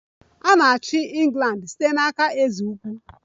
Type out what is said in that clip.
A na-achị England site n'aka eze ukwu